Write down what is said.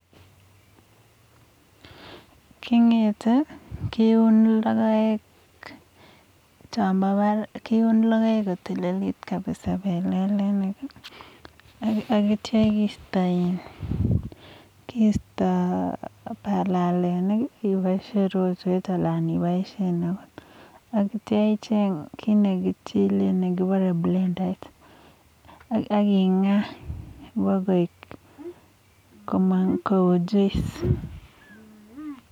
kingetee akeuun logoeek champa barak komnyee akeistaa palelenik pa kengaaa pakomang juice chechang